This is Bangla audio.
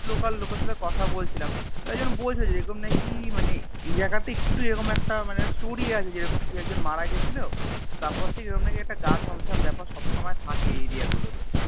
Local লোকের সাথে কথা বলছিলাম তো একজন বলছিলো যে এরকম নাকি মানে এই জাগাতে তে একটু এরকম একটা মানে Story আছে যেরকম যে কে একজন মারা গেছিলো তারপর থেকে এরম নাকি একটা গা ছম ছম ব্যাপার সব সময় থাকে এই Area গুলো তে